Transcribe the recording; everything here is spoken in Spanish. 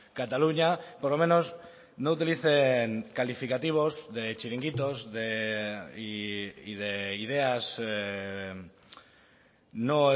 cataluña por lo menos no utilicen calificativos de chiringuitos y de ideas no